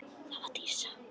Það var Dísa.